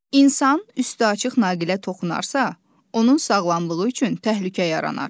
İnsan üstü açıq naqilə toxunarsa, onun sağlamlığı üçün təhlükə yaranar.